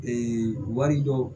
wari dɔw